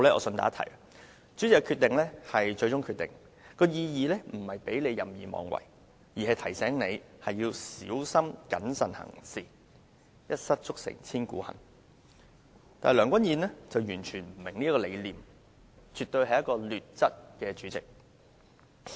順帶一提，主席的決定為最終決定的意義，並不在於讓他任意妄為，而是要提醒他在作出裁決時必須小心謹慎，一失足成千古恨，但梁君彥主席完全不明白，絕對是一位"劣質"的主席。